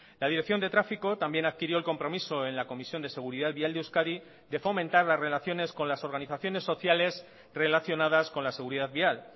la dirección de tráfico también adquirió el compromiso en la comisión de seguridad vial de euskadi de fomentar las relaciones con las organizaciones sociales relacionadas con la seguridad vial